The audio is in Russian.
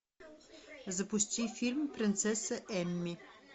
запусти фильм принцесса эмми